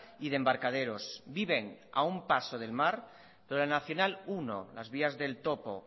y de embarcadores viven a un paso del mar pero la nmenos uno las vías del topo